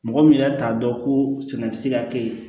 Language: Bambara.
Mɔgɔ min yɛrɛ t'a dɔn ko sɛnɛ bɛ se ka kɛ ye